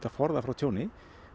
að forða frá tjóni